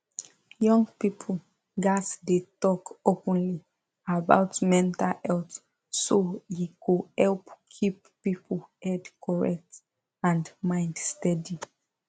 young people gats dey talk openly about mental health so e go help keep people head correct and mind steady